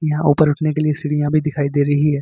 यहां ऊपर उठने के लिए सीढ़ियां भी दिखाई दे रही है।